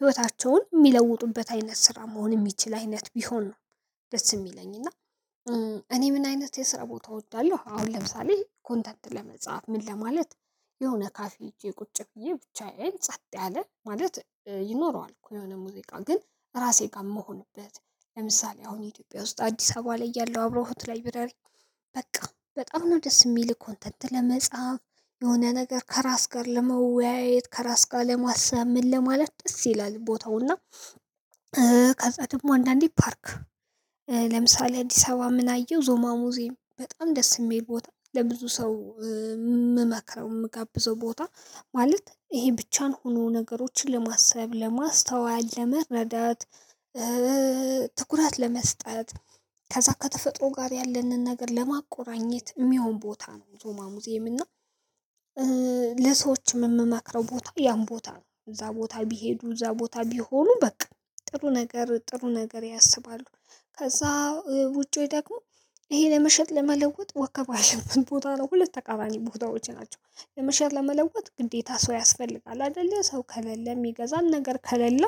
ህይወታቸውን የሚለውጡበት አይነት ስራ መሆን እምችህል አይነት ቢሆን ነው። ደስ የሚለኝ እና እኔ ምን አይነት የስራ ቦታ እወዳለሁ አሁን ለምሳሌ ኮንተንት ለመጻፍ ምን ለማለት የሆነ ካፌ ሄጄ ቁጭ ብዬ ብቻዬን ጸጥ ያለ ማለት ይኖረዋል። እኮ የሆነ ሙዚቃ ግን ራሴ ጋር እምሆንበት ለምሳሌ አሁን ኢትዮጵያ ውስጥ አዲስ አበባ ላይ ያለው አብሮሆት ላይብረሪ በቃ በጣም ነው ደስ እሚልህ ኮንተንት ለመጻፍ የሆነ ነገር ከራስ ጋር ለመወያየት ከራስ ጋር ለማሰብ ምን ለማለት ደስ ይላል ቦታውና። ከዛ ደግሞ አንዳንዴ ፓርክ ለምሳሌ አዲስ አበባ ምን አየው ዞማ ሙዝየም በጣም ደስ እሚል ቦታ ለብዙ ሰው እምመክረው እምጋብዘው ቦታ ማለት ይሄ ብቻን ሆኖ ነገሮችን ለማሰብ ለማስተዋል ለመረዳት። ትኩራት ለመስጠት ከዛ ከተፈጥሮ ጋር ያለንን ነገር ለማቆራኘት እሚሆን ቦታ ነው። ዞማ ሙዚየም እና ለሰዎችም እምማክረው ቦታ ያን ቦታ ነው እዛ ቦታ ቢሄዱ እዛ ቦታ ቢሆኑ በቃ ጥሩ ነገር ጥሩ ነገር ያስባሉ። ከዛ ውጪው ደግሞ ይሄ ለመሸጥ ለመለወጥ ወከባ ያለበት ቦታ ነው ሁለት ተቃራኒ ቦታዎች ናቸው። ለመሸጥ ለመለወጥ ግዴታ ሰው ያስፈልጋል አይደለ ሰው ከሌለ እሚገዛን ነገር ከሌለ።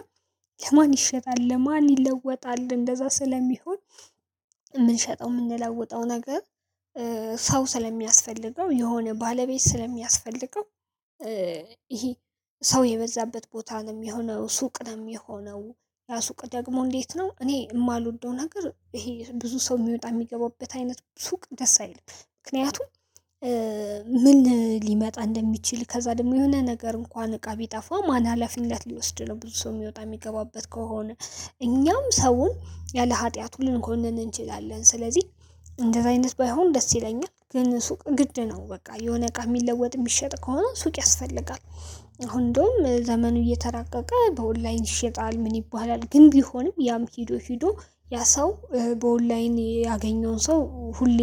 ለማን ይሸጣል ለማን ይለወጣል እንደዛ ስለሚሆን። እምንሸጠው እምንለወጠው ነገር ሰው ስለሚያስፈልገው የሆነ ባለቤት ስለሚያስፈልገው ይሄ ሰው የበዛበት ቦታ ነው እሚሆነው ሱቅ ነው እሚሆነው። ሱቅ ደግሞ እንዴት ነው እኔ እማልወደው ነገር ይሄ ብዙ ሰው እሚወጣ እሚገባበት አይነት ሱቅ ደስ አይልም ምክንያቱም። ምን ሊመጣ እንደሚችል ከዛ ደግሞ የሆነ ነገር እንኳን እቃ ቢጠፋ ማን ሀላፊነት ሊወስድ ነው ብዙ ሰው እሚወጣ እሚገባበት ከሆነ። እኛም ሰውን ያለ ሀጢያቱ ልንኮንን እንችላለን ስለዚህ እንደዚህ አይነት ባይሆን ደስ ይለኛል። ግን ሱቅ ግድ ነው በቃ የሆነ እቃ እሚለወጥ እሚሸጥ ከሆነ ሱቅ ያስፈልጋል። አሁን እንደውም ዘመኑ እየተራቀቀ በኦንላይን ይሸጣል ምን ይባላል ግን ቢሆንም ያም ሄዶ ሄዶ ያ ሰው በኦንላይን ያገኘውን ሰው ሁሌ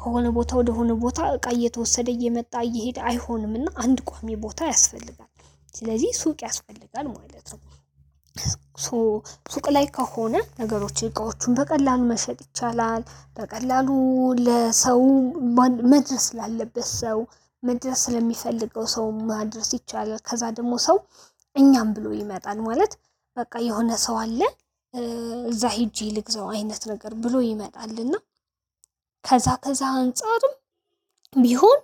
ከሆነ ቦታ ወደሆነ ቦታ እቃ እየተወሰደ እየመጣ እየሄደ አይሆንምና አንድ ቋሚ ቦታ ያስፈልጋል ስለዚህ ሱቅ ያስፈልጋል ማለት ነው። ሶ ሱቅ ላይ ከሆነ ነገሮች እቃዎቹን በቀላሉ መሸጥ ይቻላል በቀላሉ ለሰው መድረስ ላለበት ሰው መድረስ ለሚፈልገው ሰው ማድረስ ይቻላል። ከዛ ደግሞ ሰው እኛም ብሎ ይመጣል ማለት በቃ የሆነ ሰው አለ። እዛ ሄጄ ልግዛው አይነት ነገር ብሎ ይመጣል እና። ከዛ ከዛ አንፃርም ቢሆን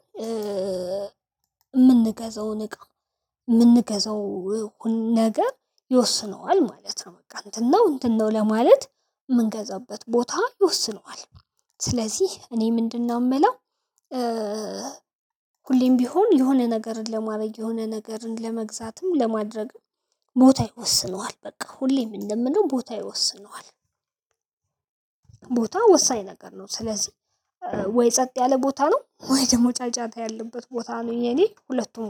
እምንገዛውን እቃ እምንገዛው ነገር ይወስነዋል ማለት ነው በቃ እንትን ነው እንትን ነው ለማለት እምንገዛበት ቦታ ይወስነዋል። ስለዚህ እኔ ምንድነው እምለው? ሁሌም ቢሆን የሆነ ነገር ለማድረግ የሆነ ነገርን ለመግዛትም ለማድረግም ቦታ ይወስነዋል በቃ ሁሌም እንደምለው ቦታ ይወስነዋል። ቦታ ወሳኝ ነገር ነው። ስለዚህ ወይ ጸጥ ያለ ቦታ ነው ወይ ደሞ ጫጫታ ያለበት ቦታ ነው የኔ ሁለቱም ጋር